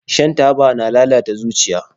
Shan taba na lalata zuciya